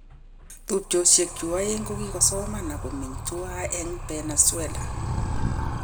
Tubchosyek chu aeng kokisomoni ak komeny tuwan eng Berne, Switzerland.